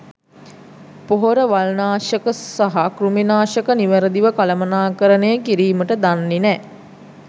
පොහොර වල්නාෂක සහ කෘමි නාෂක නිවැරදිව කළමනාකරණය කිරීමට දන්නේ නෑ.